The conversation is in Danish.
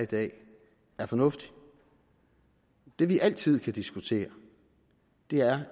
i dag er fornuftig det vi altid kan diskutere er